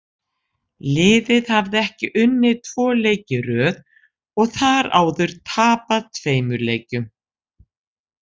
Liðið hafði ekki unnið tvo leiki í röð og þar áður tapað tveimur leikjum.